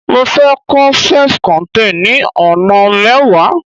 mo fe ko self contain ni ona mewa